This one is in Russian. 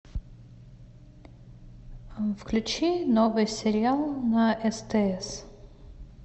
включи новый сериал на стс